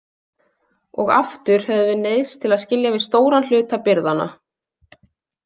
Og aftur höfðum við neyðst til að skilja við stóran hluta birgðanna.